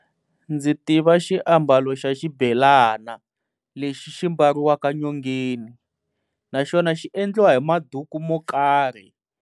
Ndzi tiva xiambalo xa xibelana lexi xi mbariwaka nyongeni, naxona xi endliwa hi maduku mo karhi.